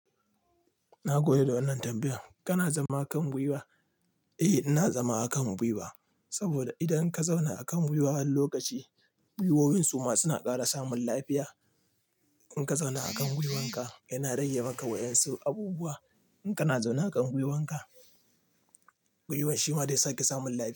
Na goyi da wannan tambayan. Kana zama a kan gwiwa? Eh, ina zama a kan gwiwa. Saboda idan ka zauna a kan gwiwa wani lokaci, gwiwoyin su ma suna ƙara samun lafiya. In ka zauna a kan gwuiwanka yana rage maka wayan su abubuwa. In kana zaune a kan gwuiwanka, gwuiwan shi ma zai sake samun lafiya.